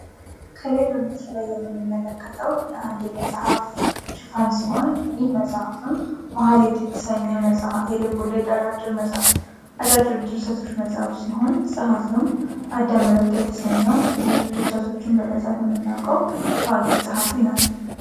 Coppership bank of abyssin bank of oromia mobile banking oromia ስራ ባንክ ባል የሚታወቀው ባንክ ኦሮሚያ ህብረት ስራ ባንክ አገልግሎትን በሞባይል እንዲያገኙ የሚያደርግበት የሞባይል ባንኪንግ አገልግሎት ነው